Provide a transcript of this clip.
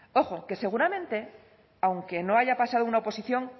ojo que seguramente aunque no haya pasado una oposición